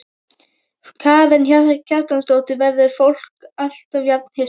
Karen Kjartansdóttir: Verður fólk alltaf jafn hissa?